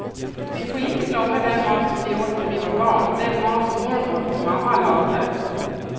Vi får inte glömma den mat som vi åt när vi var barn, den mat som mormor och mamma lagade.